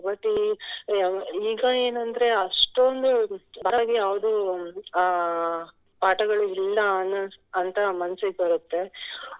But ಈ ಈಗ ಏನಂದ್ರೆ ಅಷ್ಟೊಂದು ಯಾವುದು ಅಹ್ ಪಾಠಗಳು ಇಲ್ಲ ಅನ್ನ~ ಅಂತ ಮನ್ಸಿಗ್ ಬರ್ತ್ತೆ.